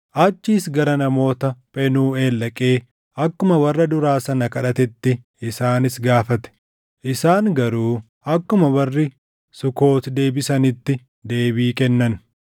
Achiis gara namoota Phenuuʼeel dhaqee akkuma warra duraa sana kadhatetti isaanis gaafate; isaan garuu akkuma warri Sukoot deebisanitti deebii kennan.